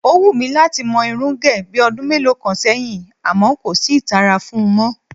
Ó wù mí láti mo̩ irún gè̩ bí o̩dún mélòó kan sé̩yìn àmó̩ kò sí ìtara fun mó̩